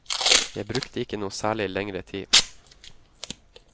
Jeg brukte ikke noe særlig lengre tid.